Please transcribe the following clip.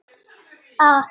Ég var jú elst.